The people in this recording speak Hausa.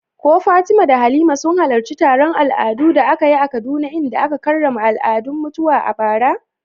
Ko Fatima da Halima sun halarci taron al'adu da aka yi a Kaduna inda aka karrama al'adun mutuwa a bara?